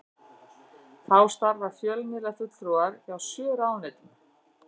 Þá starfa fjölmiðlafulltrúar hjá sjö ráðuneytum